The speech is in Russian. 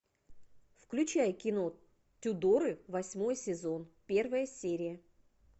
включай кино тюдоры восьмой сезон первая серия